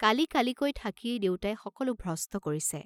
কালি কালিকৈ থাকিয়েই দেউতাই সকলো ভ্ৰষ্ট কৰিছে।